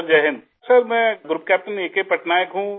sir Jai Hind Iसर मैं group captain A K Patnaik हूँ